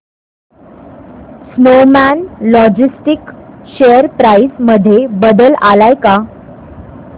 Snowman Logistics share price मध्ये बदल आलाय का